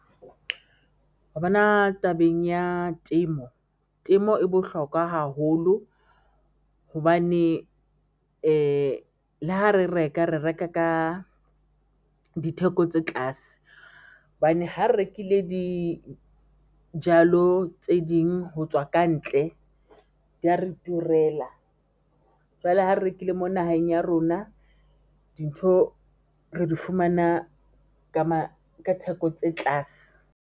Wa bona tabeng ya temo, temo e bohlokwa haholo hobane le ha re reka, re reka ka ditheko tse tlase hobane ha re rekile dijalo tse ding ho tswa kantle di ya re turela jwale ha re rekile mo naheng ya rona dintho re di fumana ka theko tse tlase.